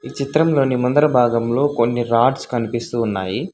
ఈ చిత్రంలోని ముందర భాగంలో కొన్ని రాడ్స్ కనిపిస్తూ ఉన్నాయి.